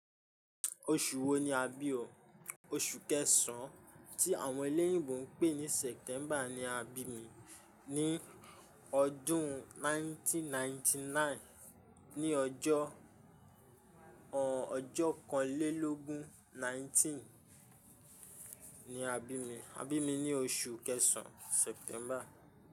Oṣù wo ni a bi o? Oṣù kẹsàn-án, tí àwọn ilé ìbò ń pè ní September ni a bí mi ní ọdún 1999, ní ọjọ́, ọ̀n, ọjọ́ kanlélógún 19 ni a bí mi. A bí mi ní oṣù kẹsàn-án, September.